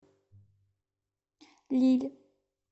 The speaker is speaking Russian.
лилль